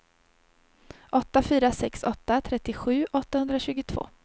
åtta fyra sex åtta trettiosju åttahundratjugotvå